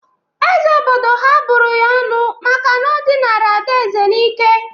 Eze obodo ha bụrụ ya ọnụ maka o dịnara ada Eze n'ike.